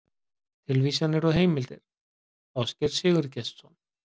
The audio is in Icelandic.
Tilvísanir og heimildir: Ásgeir Sigurgestsson.